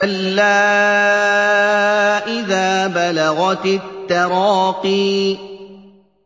كَلَّا إِذَا بَلَغَتِ التَّرَاقِيَ